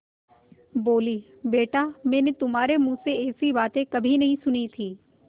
बोलीबेटा मैंने तुम्हारे मुँह से ऐसी बातें कभी नहीं सुनी थीं